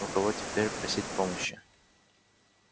у кого теперь просить помощи